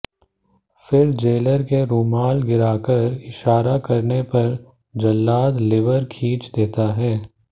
फिर जेलर के रुमाल गिराकर इशारा करने पर जल्लाद लिवर खींच देता है